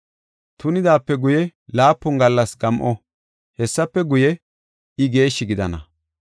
Tunidaape guye, laapun gallas gam7o; hessafe guye, I geeshshi gidana.